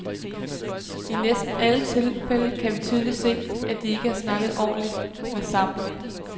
I næsten alle tilfælde kan vi tydeligt se, at de ikke har snakket ordentligt med sammen.